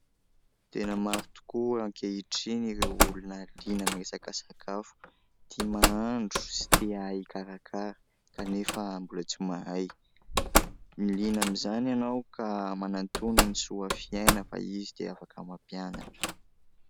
Tena maro tokoa ankehitriny ireo olona liana amin'ny resaka sakafo. Tia mahandro sy tia ahay ikarakara ka nefa mbola tsy mahay. Ny liana amin'izany ianao ka manantòna ny SOAFYAINA fa izy dia afaka mampianatra.